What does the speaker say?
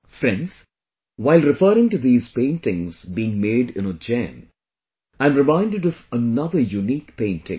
Friends, while referring to these paintings being made in Ujjain, I am reminded of another unique painting